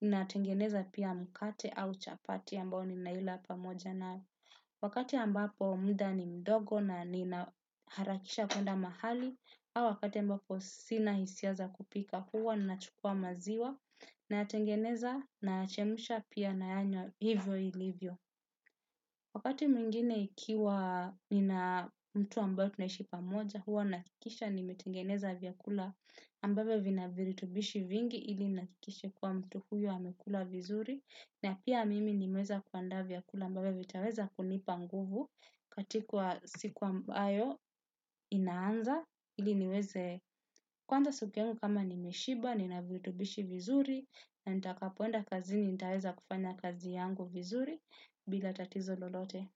ninatengeneza pia mkate au chapati ambayo ninaila pamoja nayo. Wakati ambapo muda ni mdogo na nina harakisha kwenda mahali. Au wakati ambaoo sina hisia za kupika, huwa nachukua maziwa nayqtengeneza nayachemusha pia nayanywa hivyo ilivyo. Wakati mwingine ikiwa nina mtu ambayo tunaishi pamoja huwa nahakikisha nimetengeneza vyakula ambayo vina virutubishi vingi ili nahakikisha kuwa mtu huyo amekula vizuri na pia mimi nimeweza kuandaa vyakula ambavyo vitaweza kunipa nguvu katika siku ambayo inaanza ili niweze kuanza suku yangu kama nimeshiba, nina virutubishi vizuri na nitakapoenda kazini nitaweza kufanya kazi yangu vizuri bila tatizo lolote.